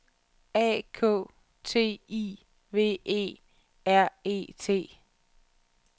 A K T I V E R E T